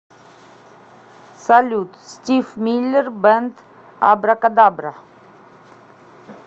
салют стив миллер бэнд абракадабра